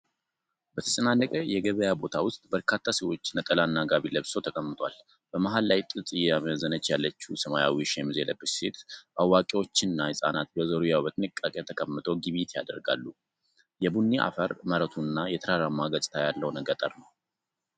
በተጨናነቀ የገበያ ቦታ ውስጥ፣ በርካታ ሰዎች ነጠላና ጋቢ ለብሰው ተቀምጠዋል። በመሃል ላይ ጥጥ እየመዘነች ያለችው ሰማያዊ ሸሚዝ የለበሰች ሴት፣ አዋቂዎችና ህጻናት በዙሪያዋ በጥንቃቄ ተቀምጠው ግብይት ያደርጋሉ። የቡኒ አፈር መሬቱና የተራራማ ገጽታ ያለው ገጠር ነው።